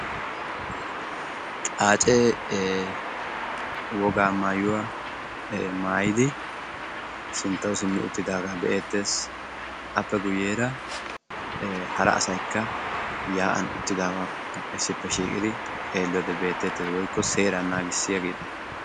xaacee wogaa mayuwa mayidi sinttawu simmi uttidaagaa be'eettes. appe guyyeera hara asaykka yaa'an uttida issippe shiiqidi xeelliyode beettes woykko seeraa naagissiyageeta.